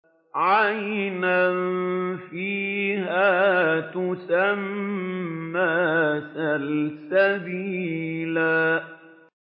عَيْنًا فِيهَا تُسَمَّىٰ سَلْسَبِيلًا